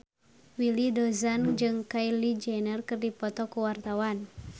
Willy Dozan jeung Kylie Jenner keur dipoto ku wartawan